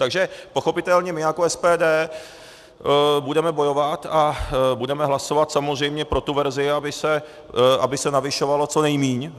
Takže pochopitelně my jako SPD budeme bojovat a budeme hlasovat samozřejmě pro tu verzi, aby se navyšovalo co nejméně.